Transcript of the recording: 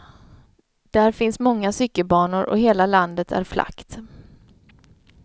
Där finns många cykelbanor och hela landet är flackt.